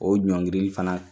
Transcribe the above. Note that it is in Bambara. O ɲɔngirili fana